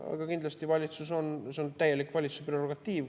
Aga kindlasti see on täielik valitsuse prerogatiiv.